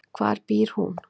Hvar býr hún?